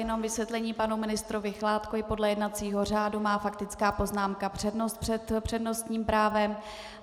Jenom vysvětlení panu ministrovi Chládkovi: podle jednacího řádu má faktická poznámka přednost před přednostním právem.